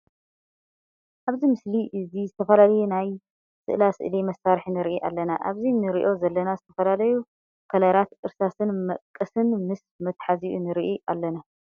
ኣብዚ ምስሊ እዚ ዝተፈላለዩ ናይ ስእላስእሊ መሳርሒ ንርኢ ኣለና። ኣብዚ እንሪኦ ዘለና ዝተፈላለዩ ከለራት እርሳስን መቀስን ምስ መትሓዚኡ ንርኢ ኣለና።